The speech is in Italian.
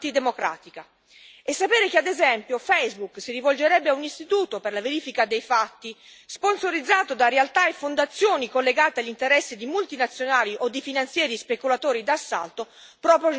Sapere che, ad esempio, Facebook si rivolgerebbe a un istituto per la verifica dei fatti, sponsorizzato da realtà e fondazioni collegate agli interessi di multinazionali o di finanzieri speculatori d'assalto, proprio non ci fa stare tranquilli.